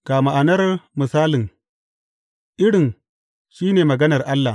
Ga ma’anar misalin, irin, shi ne maganar Allah.